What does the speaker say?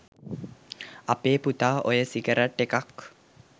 අපේ පුතා ඔය සිගරට් එකක්